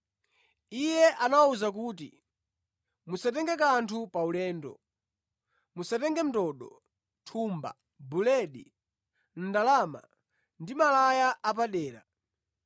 Iye anawawuza kuti, “Musatenge kanthu paulendo. Musatenge ndodo, thumba, buledi, ndalama, ndi malaya apadera.